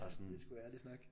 Det er sgu ærlig snak